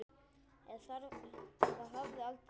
Eða hafði aldrei dimmt?